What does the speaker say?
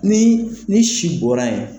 Ni ni si bɔra yen